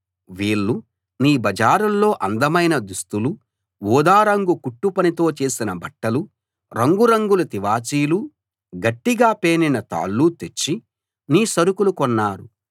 వీళ్ళు నీ బజారుల్లో అందమైన దుస్తులూ ఊదారంగు కుట్టుపనితో చేసిన బట్టలూ రంగు రంగుల తివాచీలు గట్టిగా పేనిన తాళ్ళు తెచ్చి నీ సరుకులు కొన్నారు